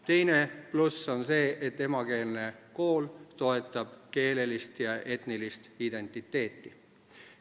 Teine pluss on see, et emakeelne kool toetab keelelist ja etnilist identiteeti.